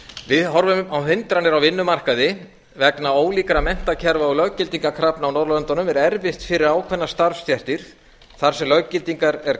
við horfum á hindranir á vinnumarkaði vegna ólíkra menntakerfa og löggildingarkrafna á norðurlöndunum er erfitt fyrir starfsstéttir þar sem löggildingar er